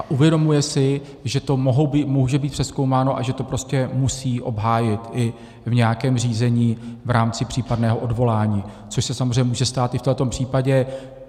A uvědomuje si, že to může být přezkoumáno a že to prostě musí obhájit i v nějakém řízení v rámci případného odvolání, což se samozřejmě může stát i v tomto případě.